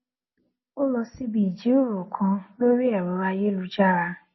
ó lọ síbi ìjíròrò kan lórí ẹrọ ayélujára